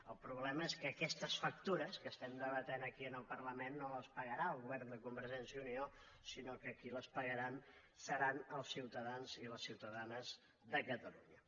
el problema és que aquestes factures que debatem aquí en el parlament no les pagarà el govern de convergència i unió sinó que qui les pagaran seran els ciutadans i les ciutadanes de catalunya